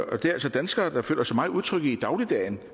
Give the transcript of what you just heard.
er altså danskere der følger sig meget utrygge i dagligdagen